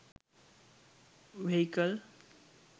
vehicle